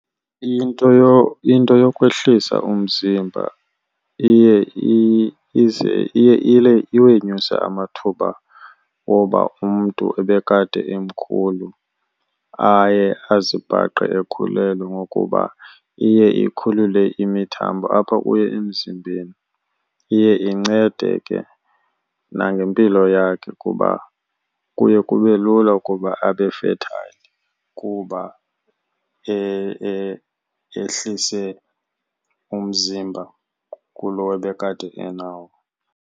Into , into yokwehlisa umzimba iye , iye iwenyuse amathuba oba umntu ebekade emkhulu aye azibhaqe ekhulelwe ngokuba iye ikhulule imithambo apha kuye emzimbeni. Iye incede ke nangempilo yakhe kuba kuye kube lula ukuba abe fertile kuba ehlise umzimba kulo ebekade enawo.